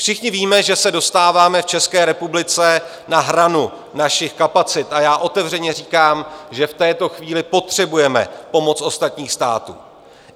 Všichni víme, že se dostáváme v České republice na hranu našich kapacit, a já otevřeně říkám, že v této chvíli potřebujeme pomoc ostatních států.